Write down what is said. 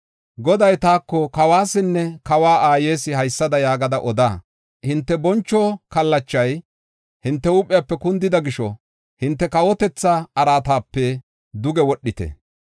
Goday taako, “Kawuwasinne kawa aayes, haysada yaagada oda: Hinte boncho kallachay hinte huuphiyape kundida gisho, hinte kawotetha araatape duge wodhite.